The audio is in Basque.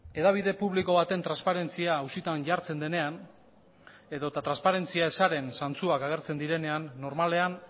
hedabide publiko baten transparentzia auzitan jartzen denean edota transparentzia ezaren zantzuak agertzen direnean normalean